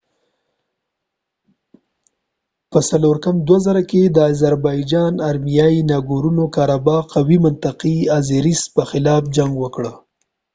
په 1994 کي د آزربایجان ارمنیایی ناګورنو کاراباخ قومي منطقې د آزریس په خلاف جنګ وکړ